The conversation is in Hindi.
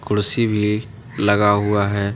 कुर्सी भी लगा हुआ है।